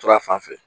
To a fan fɛ